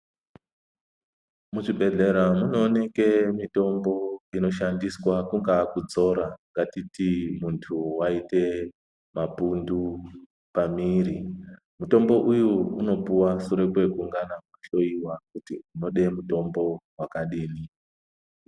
Muzvibhedhlera munooneke mitombo inoshandiswa kungaa kudzora. Ngatiti muntu vaite mapundu pami ri mutombo uyu unopuva sure kwekungana kuhlowa kuti unode mutombo vakadini.